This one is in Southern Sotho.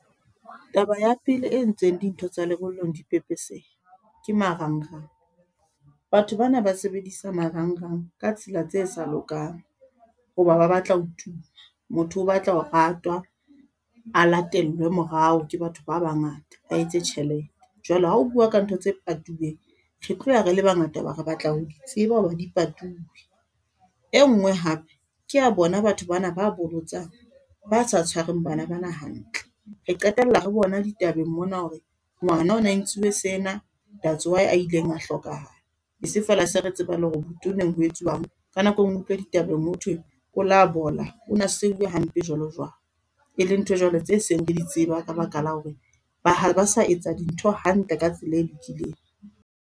Taba ya pele e entseng dintho tsa lebollong di pepesehe ke marangrang. Batho bana ba sebedisa marangrang ka tsela tse sa lokang ho ba ba batla ho tuma, motho o batla ho ratwa a latellwe morao ke batho ba bangata ba etse tjhelete. Jwale ha o bua ka ntho tse patuweng, re tlo ya re le bangata ho ba re batla ho di tseba ho re di patuwe. E ngwe hape keya bona batho bana ba bolotsang ba sa tshwareng bana bana hantle, re qetella re bona ditabeng mona hore ngwana o na entsiwe sena that's why a ileng a hlokahala. E seng feela se re tseba le hore botoneng ho etsuwang. Ka nako e ngwe utlwe ditabeng ho thwe o labola o na seuwe hampe jwalo jwalo, e le ntho jwale tse seng re di tseba ka baka la hore ha ba sa etsa dintho hantle ka tsela e lokileng.